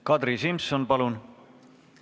Kadri Simson, palun!